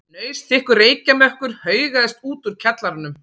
Hnausþykkur reykjarmökkur haugaðist út úr kjallaranum.